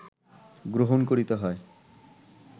গ্রহণ করিতে হয়